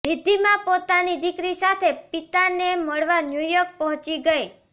રિદ્ધિમા પોતાની દીકરી સાથે પિતાને મળવા ન્યૂયોર્ક પહોંચી ગઈ